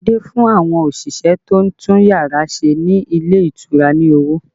Adé fún àwọn òṣìṣẹ́ tó ń tún yàrá ṣe ní ilé ìtura ní owó